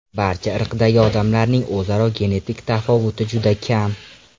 Barcha irqdagi odamlarning o‘zaro genetik tafovuti juda kam.